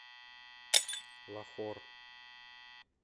лахор